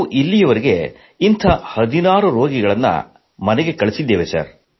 ನಾವು ಇಲ್ಲಿಯವರೆಗೆ ಇಂಥ 16 ರೋಗಿಗಳನ್ನು ಮನೆಗೆ ಕಳುಹಿಸಿದ್ದೇವೆ